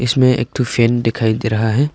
इसमें एक ठो फैन दिखाई दे रहा है।